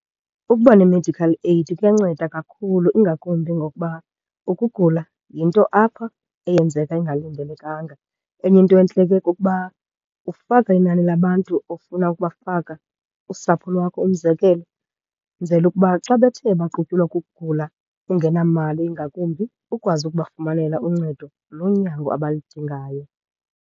Ukuba ne-medical aid kuyanceda kakhulu, ingakumbi ngokuba ukugula yinto apha eyenzeka ingalindelekanga. Enye into entle ke kukuba ufaka inani labantu ofuna ukubafaka, usapho lwakho umzekelo, kwenzela ukuba xa bethe baqutyulwa kukugula ungenamali ingakumbi, ukwazi ukubafumanela uncedo lonyango abalidingayo.